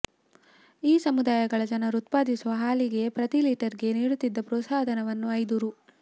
ಈ ಸಮುದಾಯಗಳ ಜನರು ಉತ್ಪಾದಿಸುವ ಹಾಲಿಗೆ ಪ್ರತಿ ಲೀಟರ್ಗೆ ನೀಡುತ್ತಿದ್ದ ಪ್ರೋತ್ಸಾಹಧನವನ್ನು ಐದು ರು